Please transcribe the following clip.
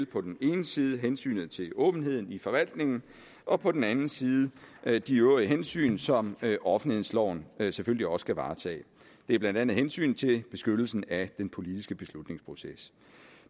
på den ene side hensynet til åbenheden i forvaltningen og på den anden side de øvrige hensyn som offentlighedsloven selvfølgelig også skal varetage det er blandt andet hensynet til beskyttelsen af den politiske beslutningsproces